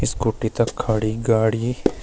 स्कूटी तख खड़ी गाड़ी।